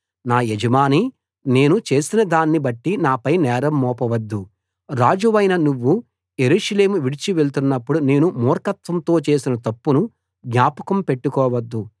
నా యజమానీ నేను చేసినదాన్ని బట్టి నాపై నేరం మోపవద్దు రాజువైన నువ్వు యెరూషలేము విడిచివెళ్తున్నప్పుడు నేను మూర్ఖత్వంతో చేసిన తప్పును జ్ఞాపకం పెట్టుకోవద్దు